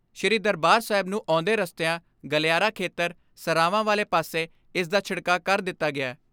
ਸ੍ਰੀ ਦਰਬਾਰ ਸਾਹਿਬ ਨੂੰ ਆਉਂਦੇ ਰਸਤਿਆਂ, ਗਲਿਆਰਾ ਖੇਤਰ, ਸਰਾਵਾਂ ਵਾਲੇ ਪਾਸੇ ਇਸ ਦਾ ਛਿੜਕਾਅ ਕਰ ਦਿੱਤਾ ਗਿਐ।